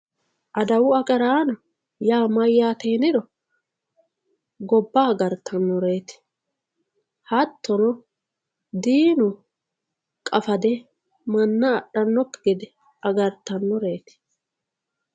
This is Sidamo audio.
adawu agaraano yaa mayaate yiniro gobba agartannoreeti hattono diinu qafade manna axxannokki gede agartannoreeti